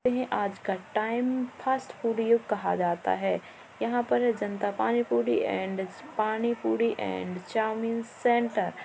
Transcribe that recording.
ते हैं आज का टाइम फ़ास्ट फूड युग कहा जाता है यहाँ पर जनता pani puri and pani puri and chowmein centre --